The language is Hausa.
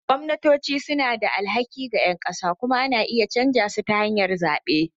Gwamnatoci suna da alhaki ga ƴan ƙasa kuma ana iya canza su ta hanyar zaɓe.